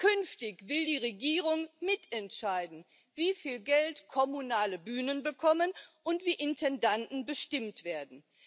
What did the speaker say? Künftig will die Regierung mitentscheiden, wie viel Geld kommunale Bühnen bekommen und wie Intendanten bestimmt werden.